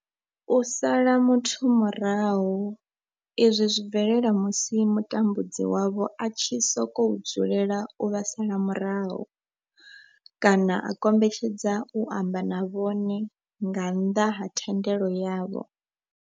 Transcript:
U sala muthu murahu izwi zwi bvelela musi mutambudzi wavho a tshi sokou dzulela u vha sala murahu kana a kombetshedza u amba na vhone nga nnḓa ha thendelo yavho.